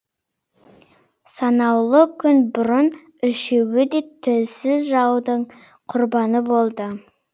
санаулы күн бұрын үшеуі де тілсіз жаудың құрбаны болды